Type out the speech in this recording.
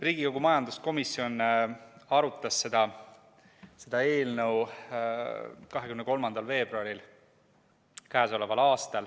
Riigikogu majanduskomisjon arutas seda eelnõu k.a 23. veebruaril.